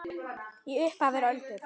Í upphafi eru öldur.